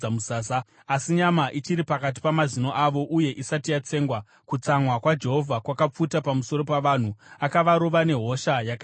Asi nyama ichiri pakati pamazino avo uye isati yatsengwa, kutsamwa kwaJehovha kwakapfuta pamusoro pavanhu, akavarova nehosha yakaipisisa.